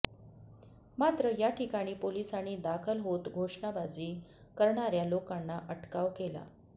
मात्र याठिकाणी पोलिसांनी दाखल होत घोषणाबाजी करणार्या लोकांना अटकाव केला